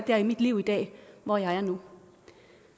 her i mit liv i dag hvor jeg er nu